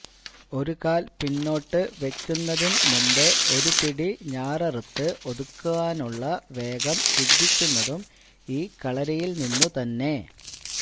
ഒരു കാൽ പിന്നോട്ട് വെയ്ക്കുന്നതിൻമുമ്പ് ഒരു പിടി ഞാററുത്ത് ഒതുക്കുവാനുള്ള വേഗം സിദ്ധിക്കുന്നതും ഈ കളരിയിൽനിന്നു തന്നെ